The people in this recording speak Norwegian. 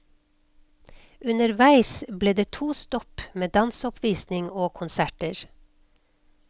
Underveis blir det to stopp med danseoppvisning og konserter.